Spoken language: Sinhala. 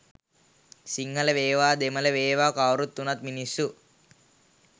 සිංහල වේවා දෙමල වේවා කවුරු උනත් මිනිස්සු.